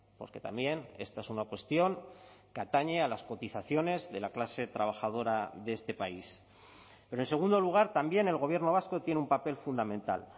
porque también esta es una cuestión que atañe a las cotizaciones de la clase trabajadora de este país pero en segundo lugar también el gobierno vasco tiene un papel fundamental